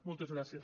moltes gràcies